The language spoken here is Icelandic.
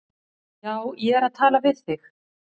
Já, ég er að tala við þig!